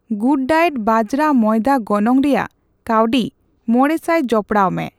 ᱜᱩᱰᱰᱟᱭᱮᱴ ᱵᱟᱡᱨᱟ ᱢᱚᱭᱫᱟ ᱜᱚᱱᱚᱝ ᱨᱮᱭᱟᱜ ᱠᱟᱣᱰᱤ ᱢᱚᱲᱮ ᱥᱟᱭ ᱡᱚᱯᱚᱲᱟᱣᱢᱮ